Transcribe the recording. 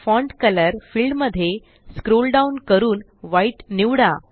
font colour field मध्ये scroll down करून white निवडा